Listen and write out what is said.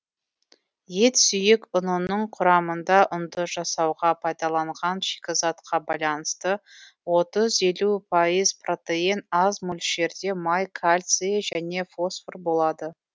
ет сүйек ұнының құрамында ұнды жасауға пайдаланған шикізатқа байланысты отыз елу пайыз протеин аз мөлшерде май кальций және фосфор болады